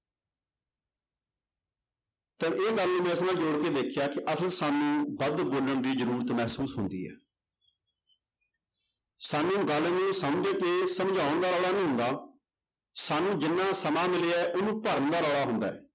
ਤਾਂ ਇਹ ਗੱਲ ਨੂੰ ਜੋੜ ਕੇ ਦੇਖਿਆ ਕਿ ਅਸਲ ਸਾਨੂੰ ਵੱਧ ਬੋਲਣ ਦੀ ਜ਼ਰੂਰਤ ਮਹਿਸੂਸ ਹੁੰਦੀ ਹੈ ਸਾਨੂੰ ਗੱਲ ਨੂੰ ਸਮਝ ਕੇ ਸਮਝਾਉਣ ਦਾ ਰੌਲਾ ਨਹੀਂ ਹੁੰਦਾ, ਸਾਨੂੰ ਜਿੰਨਾ ਸਮਾਂ ਮਿਲਿਆ ਹੈ ਉਹਨੂੰ ਭਰਨ ਦਾ ਰੌਲਾ ਹੁੰਦਾ ਹੈ।